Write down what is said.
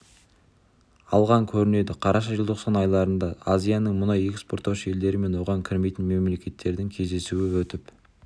алған көрінеді қараша желтоқсан айларында азияның мұнай экспорттаушы елдері мен оған кірмейтін мемлекеттердің кездесуі өтіп